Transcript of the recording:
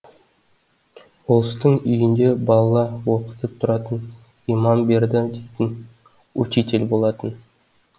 болыстың үйінде бала оқытып тұратын иман берді дейтін учитель болатын